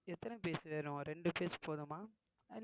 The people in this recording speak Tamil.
எத்தனை piece வேணும் ரெண்டு piece போதுமா